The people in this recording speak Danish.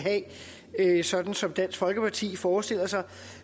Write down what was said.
have sådan som dansk folkeparti forestiller sig